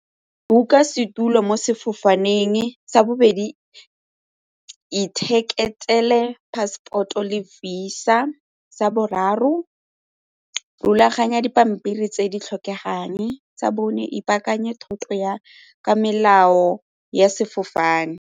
Book-a setulo mo sefofaneng. Sa bobedi, ithekele passport-o le Visa. Sa boraro, rulaganya dipampiri tse di tlhokegang. Sa bone, ipaakanyetse thoto ya ka melao ya sefofane.